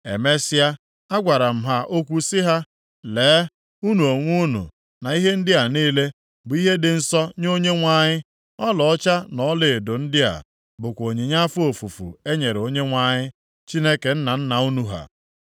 Emesịa, agwara m ha okwu sị ha, “Lee, unu onwe unu na ihe ndị a niile bụ ihe dị nsọ nye Onyenwe anyị. Ọlaọcha na ọlaedo ndị a bụkwa onyinye afọ ofufu e nyere Onyenwe anyị Chineke nna nna unu ha.